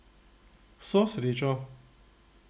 Vso srečo!